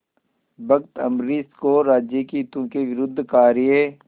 भक्त अम्बरीश को राज्य के हितों के विरुद्ध कार्य